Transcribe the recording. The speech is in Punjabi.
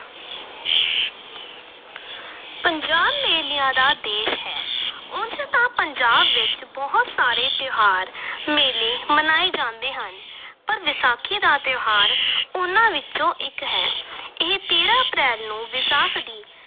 ਪੰਜਾਬ ਮੇਲਿਆਂ ਦਾ ਦੇਸ਼ ਹੈ ਉਂਝ ਤਾਂ ਪੰਜਾਬ ਵਿਚ ਬਹੁਤ ਸਾਰੇ ਤਿਉਹਾਰ ਮੇਲੇ ਮਨਾਏ ਜਾਂਦੇ ਹਨ ਪਰ ਵਿਸਾਖੀ ਦਾ ਤਿਉਹਾਰ ਉਨ੍ਹਾਂ ਵਿਚੋਂ ਇਕ ਹੈ ਇਹ ਤੇਰਾਂ ਅਪ੍ਰੈਲ ਨੂੰ ਵਿਸਾਖ ਦੀ